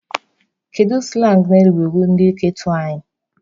Kedu sụlang na-ewuru ndị ghetto anyị?